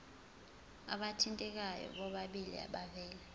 abathintekayo bobabili bavele